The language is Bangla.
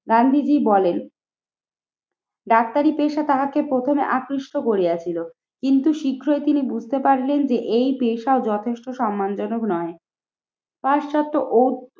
গান্ধীজি বলেন, ডাক্তারি পেশা তাহাকে প্রথমে আকৃষ্ট করিয়াছিল কিন্তু শীঘ্রই তিনি বুঝতে পারলেন যে এই পেশায় যথেষ্ট সম্মানজনক নয়। পাশ্চাত্য ও